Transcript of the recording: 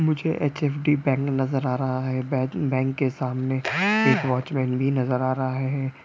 मुझे H F D bank नजर आ रहा है बै बैंक के सामने एक वॉचमेन भी नजर आ रहा है।